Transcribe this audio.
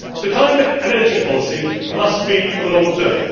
Climate and energy policy must be for the long term.